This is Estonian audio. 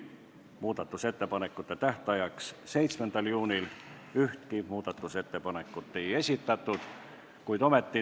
Muudatusettepanekute tähtajaks 7. juuniks ühtki ettepanekut ei esitatud.